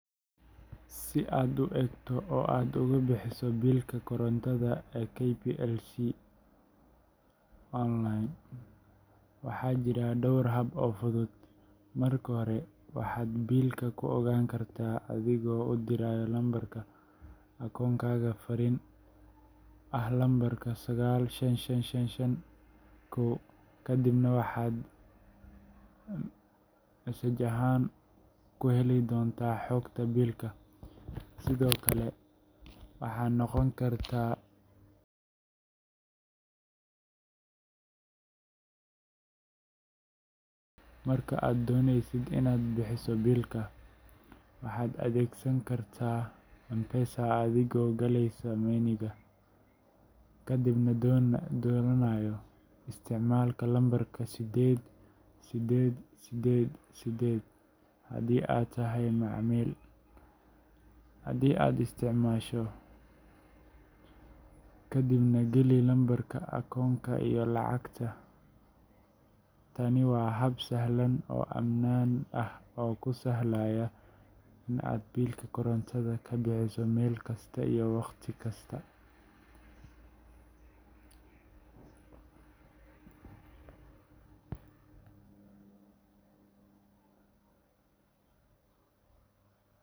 Si aad u eegto oo aad uga bixiso biilka korontada ee KPLC onlayn, waxaa jira dhowr hab oo fudud. Marka hore, waxaad biilka ku ogaan kartaa adigoo u diraya lambarka akoonkaaga fariin SMS ah lambarka 95551 kadibna waxaad SMS ahaan ku heli doontaa xogta biilka. Sidoo kale, waxaad booqan kartaa website-ka rasmiga ah ee KPLC selfservice.kplc.co.ke halkaas oo aad ku gali karto lambarka akoonkaaga si aad u aragto biilkaaga. Waxa kale oo aad isticmaali kartaa App-ka KPLC Self-Service haddii aad rabto adeeg degdeg ah oo mobile-ka ah. Marka aad dooneyso inaad bixiso biilka, waxaad adeegsan kartaa M-Pesa adigoo galaya menu-ga Lipa na M-Pesa,” kadibna dooranaya Paybill. Isticmaal lambarka 888888 haddii aad tahay macmiil postpaid ama 888880 haddii aad isticmaasho prepaid tokens, kadibna geli lambarka akoonka iyo lacagta. Tani waa hab sahlan oo ammaan ah oo kuu sahlaya in aad biilka korontada ka bixiso meel kasta iyo waqti kasta.